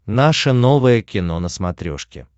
наше новое кино на смотрешке